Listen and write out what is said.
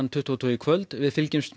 tuttugu og tvö í kvöld við fylgjumst